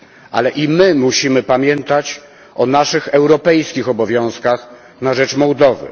Ale i my musimy pamiętać o naszych europejskich obowiązkach na rzecz Mołdowy.